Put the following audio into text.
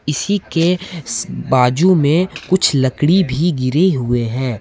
इसी के बाजू में कुछ लकड़ी भी गिरी हुए हैं।